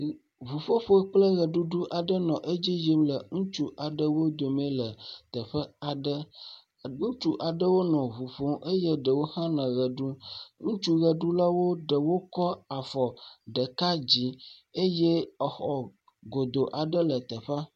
Ŋuƒoƒo kplɔ ʋeɖuɖu aɖe le adzi yim le ŋutsu eve aɖewo dome le teƒe aɖe. Ŋutsu aɖewo nɔ ŋuƒom eye ɖewo hã nɔ ʋe ɖum. Ŋutsu ʋeɖulawo ɖe wotsɔ afɔ ɖeka dzi eye exɔ go aɖe le teƒea.